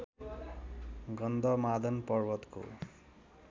गन्धमादन पर्वतको